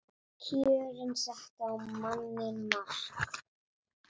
Kjörin settu á manninn mark